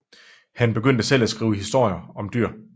Han begyndte selv at skrive historier om dyr